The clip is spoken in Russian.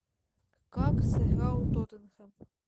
как сыграл тоттенхэм